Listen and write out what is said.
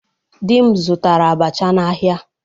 Di m zụtara abacha n'ahịa.